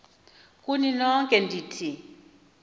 kuni nonke ndithi